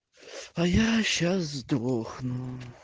а я сейчас сдохну